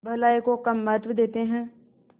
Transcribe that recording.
भलाई को कम महत्व देते हैं